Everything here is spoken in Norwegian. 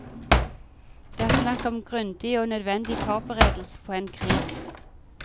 Det er snakk om grunding og nødvendig foreberedelse på en krig.